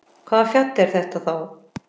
Hvaða fjall er þetta þá?